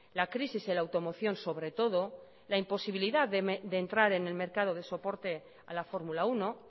la crisis en la automoción sobre todo la imposibilidad de entrar en el mercado de soporte a la formula uno